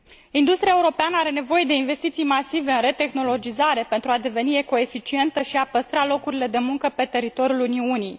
Industria europeană are nevoie de investiții masive în retehnologizare pentru a deveni ecoeficientă și a păstra locurile de muncă pe teritoriul Uniunii.